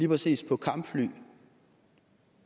præcis på kampfly